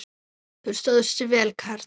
Þú stóðst þig vel, karl.